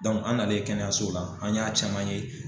an n'ale kɛnɛyaso la an y'a caman ye